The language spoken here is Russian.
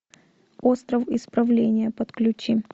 остров исправления подключи